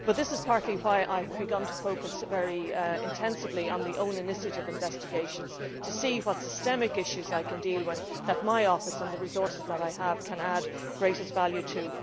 But this is partly why I have begun to focus very intensively on the own initiative investigations, to see what systemic issues I can deal with which my office and the resources that I have can add greatest value to.